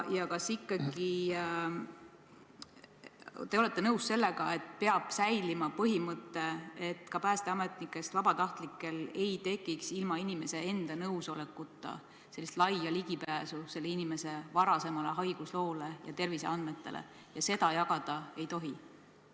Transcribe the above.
Kas te olete nõus sellega, et säilima peab ikkagi põhimõte, et ka päästeametnikest vabatahtlikel ei tekiks ilma inimese enda nõusolekuta sellist laia ligipääsu kellegi varasemale haigusloole ja terviseandmetele ning seda infot jagada ei tohi?